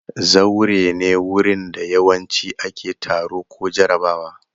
Zaure ne wurin da yawanci ake taro ko jarabawa.